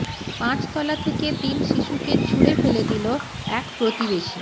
পাঁচতলা থেকে তিন শিশুকে ছুঁড়ে ফেলে দিল এক প্রতিবেশী